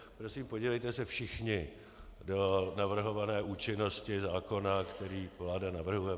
Prosím, podívejte se všichni do navrhované účinnosti zákona, který vláda navrhuje.